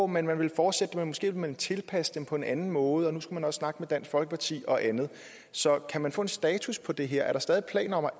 man ville fortsætte men måske ville man tilpasse dem på en anden måde at nu skulle man også snakke med dansk folkeparti og andet så kan man få en status på det her er der stadig planer om at